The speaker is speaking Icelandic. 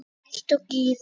Líkt og gír